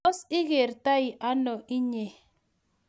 tos, igerti ano inye?